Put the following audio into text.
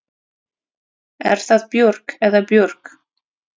Er það Björg eða Björg?